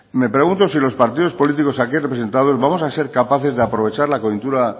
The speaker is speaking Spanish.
me pregunto si los partido políticos aquí representados vamos a ser capaces de aprovechar la coyuntura